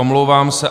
Omlouvám se.